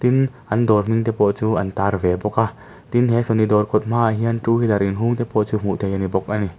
in an dawr hming te pawh chu an tar ve bawk a tin he sony dawr kawt hma ah hian two wheeler inhung te pawh chu hmuh thei a ni bawk a ni.